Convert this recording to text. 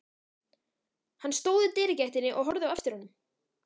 Hann stóð í dyragættinni og horfði á eftir honum.